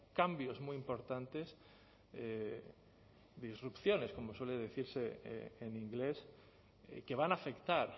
cambios muy importantes disrupciones como suele decirse en inglés que van a afectar